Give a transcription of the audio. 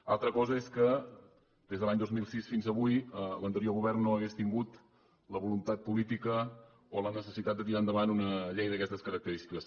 una altra cosa és que des de l’any dos mil sis fins avui l’anterior govern no hagués tingut la voluntat política o la necessitat de tirar endavant una llei d’aquestes característiques